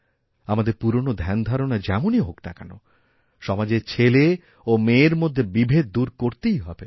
আমাদের পুরনোধ্যানধারণা যেমনই হোক না কেন সমাজে ছেলে ও মেয়ের মধ্যে বিভেদ দূর করতেই হবে